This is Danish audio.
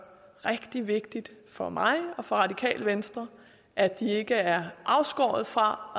rigtig vigtigt for mig og radikale venstre at de ikke er afskåret fra